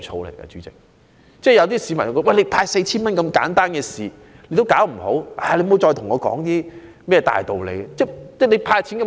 有些市民感到當局連派發 4,000 元這麼簡單的事也做不好，還說甚麼其他大道理呢？